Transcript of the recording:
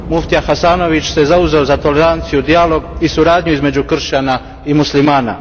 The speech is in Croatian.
Muftija Hasanović se zauzeo za toleranciju, dijalog i suradnju između kršćana i muslimana.